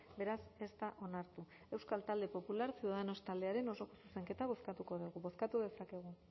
beraz ez da onartu euskal talde popular ciudadanos taldearen osoko zuzenketa bozkatuko dugu bozkatu dezakegu